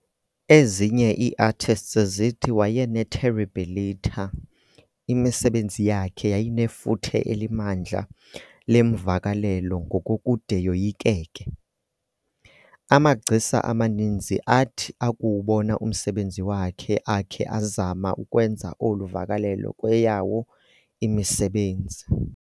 Ezinye iiartists zithi wayene"terribilità", imisebenzi yakhe yayinefuthe elimandla lemvakalelo ngokokude yoyikeke. Amagcisa amaninzi athi akuwubona umsebenzi wakhe akhe azama ukwenza olu vakalelo kweyawo imisebenzi..